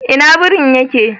Ina birin ya ke?